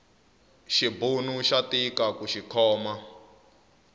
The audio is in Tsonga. xibunu xa tika kuxi khoma